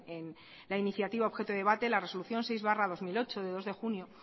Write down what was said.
en la iniciativa objeto de debate la resolución seis barra dos mil ocho de dos de junio